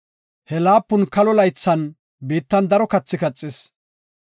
He laapun kalo laythan biittan daro kathi kaxis.